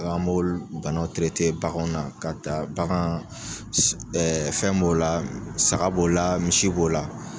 Dɔn an b'o banaw terete baganw na k'a ta bagan si ɛ fɛn b'o la saga b'o la misi b'o la